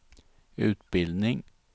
utbildning